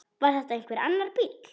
Var þetta einhver annar bíll?